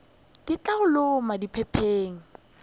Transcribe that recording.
di tla go loma diphepheng